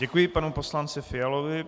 Děkuji panu poslanci Fialovi.